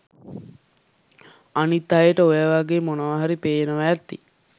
අනිත් අයට ඔයවගේ මොනාහරි පේනව ඇති